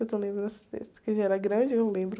Eu esse, que ele era grande, eu lembro.